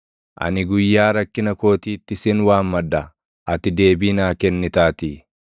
Ani guyyaa rakkina kootiitti sin waammadha; ati deebii naa kennitaatii.